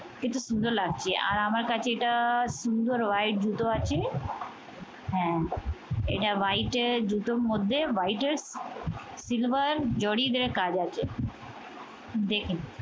কিন্তু সুন্দর লাগছে আর আমার কাছে এটা সুন্দর white জুতো আছে। হ্যাঁ এটা white এর জুতোর মধ্যে white এর silver জরিদে কাজ আছে। দেখেন